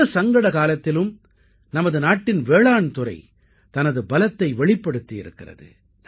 இந்தச் சங்கட காலத்திலும் நமது நாட்டின் வேளாண்துறை தனது பலத்தை வெளிப்படுத்தியிருக்கிறது